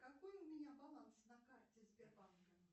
какой у меня баланс на карте сбербанка